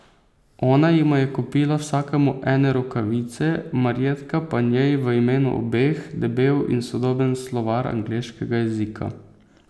Ona jima je kupila vsakemu ene rokavice, Marjetka pa njej v imenu obeh debel in sodoben slovar angleškega jezika.